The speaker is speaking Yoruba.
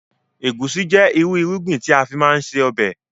Egusi jẹ ìrú irúgbìn tí a má ń fi ṣe ọbẹ̀